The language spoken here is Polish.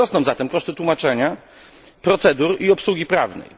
Wzrosną zatem koszty tłumaczenia, procedur i obsługi prawnej.